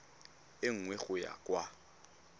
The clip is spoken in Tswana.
e nngwe go ya kwa